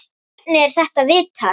Hvernig er þetta vitað?